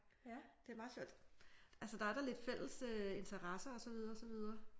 Det er meget sjovt. Altså der er da lidt fælles interesser og så videre så videre